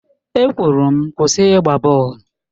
E kwụrụ m Kwụsị ịgba bọọlụ!